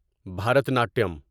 Bharatanatyam